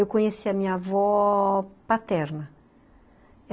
Eu conheci a minha avó... paterna.